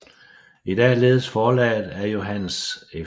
I dag ledes forlaget af Johannes F